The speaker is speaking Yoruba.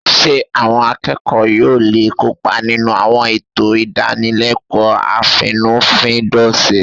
Ṣé àwọn akẹ́kọ̀ọ́ yóò lè kópa nínú àwọn ètò ìdánilẹ́kọ̀ọ́ àfínnúfíndọ̀ṣe?